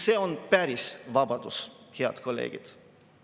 See on päris vabadus, head kolleegid.